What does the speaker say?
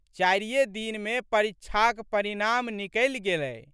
चारिये दिनमे परीक्षाक परिणाम निकलि गेलै।